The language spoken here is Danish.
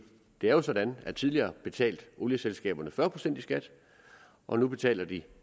det er jo sådan at tidligere betalte olieselskaberne fyrre procent i skat og nu betaler de